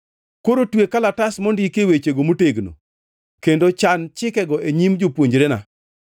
Koro twe kalatas mondikie wechego motegno kendo chan chikego e nyim jopuonjrena.